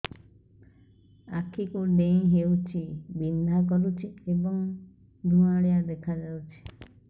ଆଖି କୁଂଡେଇ ହେଉଛି ବିଂଧା କରୁଛି ଏବଂ ଧୁଁଆଳିଆ ଦେଖାଯାଉଛି